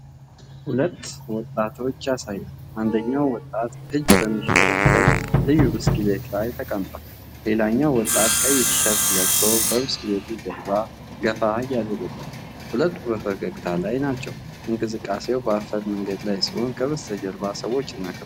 ሁለት ወጣቶችን ያሳያል። አንደኛው ወጣት እጅ በሚሽከረከር ልዩ ብስክሌት ላይ ተቀምጧል። ሌላኛው ወጣት ቀይ ቲሸርት ለብሶ በብስክሌቱ ጀርባ ገፋ እያደረገው ነው። ሁለቱም በፈገግታ ላይ ናቸው። እንቅስቃሴው በአፈር መንገድ ላይ ሲሆን ከበስተጀርባ ሰዎችና ከብቶች አሉ።